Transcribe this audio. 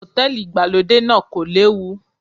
Hòtẹ́lìì ìgbàlódé náà kò léwu.